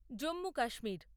Jammu Kashmir